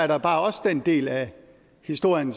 der er også den del af historien